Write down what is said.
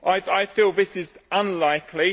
I feel this is unlikely.